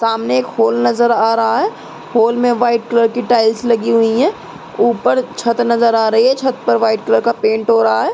सामने एक हॉल नजर आ रहा है। हॉल में व्हाइट कलर की टाइल्स लगी हुई हैं। ऊपर छत नजर आ रही है। छत पर व्हाइट कलर का पेंट हो रहा है।